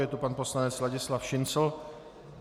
Je to pan poslanec Ladislav Šincl.